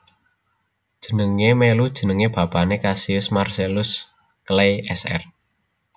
Jenengé mèlu jeneng bapané Cassius Marcellus Clay Sr